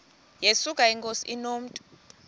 yesuka inkosi inomntu